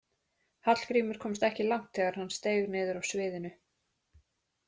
Hallgrímur komst ekki langt þegar hann steig niður af sviðinu.